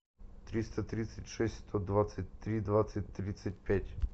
триста тридцать шесть сто двадцать три двадцать тридцать пять